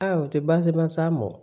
Aa u tɛ baasi ba s'a ma